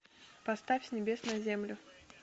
поставь с небес на землю